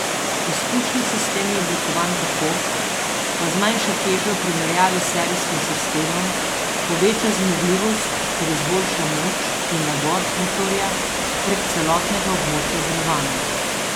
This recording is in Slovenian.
Izpušni sistem je oblikovan tako, da zmanjša težo v primerjavi s serijskim sistemom, poveča zmogljivost ter izboljša moč in navor motorja prek celotnega območja delovanja.